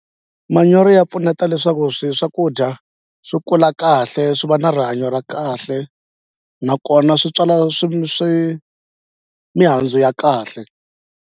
Manyoro ya pfuneta leswaku swi swakudya swi kula kahle swi va na rihanyo ra kahle nakona swi tswala swi swi mihandzu ya kahle.